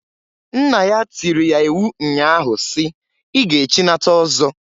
Nna ya tiiri ya iwu nnya ahụ si, "I ga echinata ọzọ!"